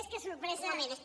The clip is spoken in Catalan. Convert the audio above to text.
més que sorpresa per